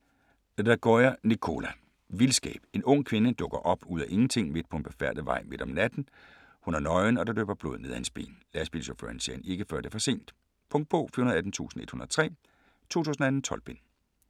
Lagioia, Nicola: Vildskab En ung kvinde dukker op ud af ingenting midt på en befærdet vej om natten. Hun er nøgen og der løber blod ned af hendes ben. Lastbilchaufføren ser hende ikke før det er for sent. Punktbog 418103 2018. 12 bind.